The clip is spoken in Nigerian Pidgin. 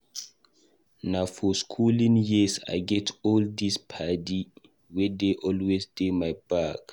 Na for skooling years I get all these paddy wey dey always dey my back.